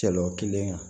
Cɛ o kelen